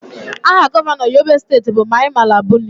Aha Gọvanọ Yobe steeti bụ Mai Mala Buni